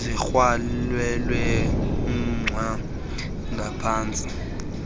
ezikrwelelwe umgca ngaphantsi